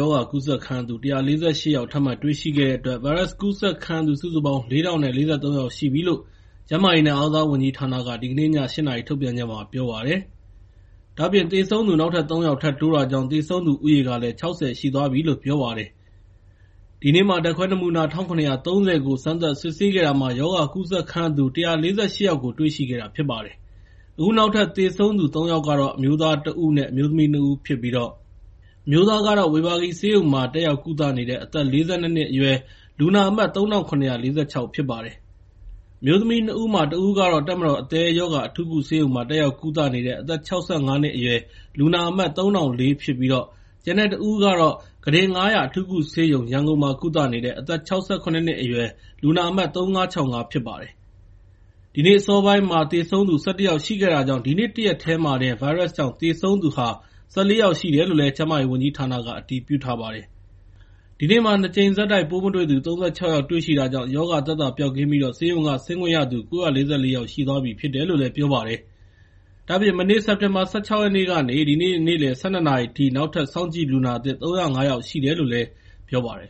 ရောဂါကူးစက်ခံရသူ ၁၄၈ ယောက်ထပ်မံတွေ့ရှိခဲ့တဲ့အတွက် ဗိုင်းရပ်စ်ကူးစက်ခံရသူ စုစုပေါင်း ၄,၀၄၃ ယောက် ရှိပြီလို့ ကျန်းမာရေးနဲ့ အားကစားဝန်ကြီးဌာနက ဒီကနေ့ည ၈ နာရီထုတ်ပြန်ချက်မှာ ပြောပါတယ်။ ဒါ့အပြင် သေဆုံးသူ နောက်ထပ် ၃ ယောက် ထပ်တိုးတာကြောင့် သေဆုံးသူဦးရေကလည်း ၆၀ ရှိသွားပြီလို့ ပြောပါတယ်။ ဒီနေ့ ဓာတ်ခွဲ နမူနာ ၁,၇၃၀ ကို စမ်းသပ်စစ်ဆေးခဲ့တာမှာ ရောဂါကူးစက်ခံရသူူ ၁၄၈ ယောက်ကို တွေ့ရှိခဲ့တာဖြစ်ပါတယ်။ အခုနောက်ထပ် သေဆုံးသူ ၃ ယောက်ကကတော့ အမျိုးသား ၁ ဦး အမျိုးသမီး ၂ ဦးဖြစ်ပြီး အမျိုးသားကတော့ ဝေဘာဂီဆေးရုံမှာ တက်ရောက်ကုသနေတဲ့ အသက် ၄၂ နှစ်အရွယ် လူနာအမှတ် ၃,၇၄၆ ဖြစ်ပါတယ်။ အမျိုးသမီး ၂ ဦးမှာ တဦးက တပ်မတော် အသည်းရောဂါအထူးကုဆေးရုံမှာ တက်ရောက်ကုသနေသူ အသက် ၆၅ နှစ်အရွယ် လူနာအမှတ် ၃,၀၀၄ ဖြစ်ပြီး ကျန်တဲ့တဦးကတော့ ကုတင် ၅၀၀ အထူးကုဆေးရုံမှာ ကုသနေတဲ့ အသက် ၆၇ နှစ်အရွယ် လူနာအမှတ် ၃,၅၆၅ ဖြစ်ပါတယ်။ ဒီနေ့ အစောပိုင်းက သေဆုံးသူ ၁၁ ယောက်ရှိတာကြောင့် ဒီနေ့ တရက်တည်းတင် ဗိုင်းရပ်စ်ကြောင့် သေဆုံးသူက ၁၄ ယောက်ရှိတယ်လို့ ကျန်းမာရေးဝန်ကြီးဌာနက အတည်ပြုထားပါတယ်။ ဒါ့အပြင် ဒီနေ့မှာ ၂ ကြိမ်ဆက် ပိုးမတွေ့သူ ၃၆ ယောက်ရှိတာကြောင့် ရောဂါသက်သာပျောက်ကင်းပြီး ဆေးရုံက ဆင်းခွင့်ရသူ ၉၄၄ ယောက်ရှိသွားပြီဖြစ်တယ်လို့ ပြောပါတယ်။ ဒါ့အပြင် မနေ့ စက်တင်ဘာ ၁၆ ရက်နေ့ကနေ ဒီနေ့ နေ့လယ် ၁၂ နာရီအထိ နောက်ထပ် စောင့်ကြည့်လူနာသစ် ၃၀၅ ယောက်ရှိတယ်လို့လည်း ပြောပါတယ်